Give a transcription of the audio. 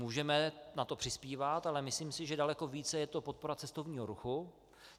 Můžeme na to přispívat, ale myslím si, že daleko víc je to podpora cestovního ruchu.